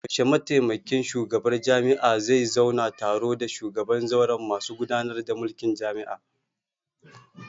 Yaushe mataimakin shugabar jami'ah zai zauna taro da shugaban zauren masu gudanar da mulkin jami'a?